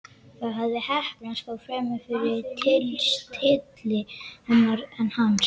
Það hafði heppnast, þó fremur fyrir tilstilli hennar en hans.